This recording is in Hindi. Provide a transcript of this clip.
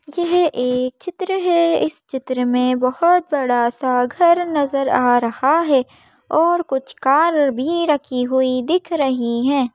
यह एक चित्र है इस चित्र में बहोत बड़ा सा घर नजर आ रहा है और कुछ कार भीं रखी हुई दिख रहीं हैं।